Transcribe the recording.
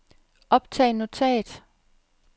optag notat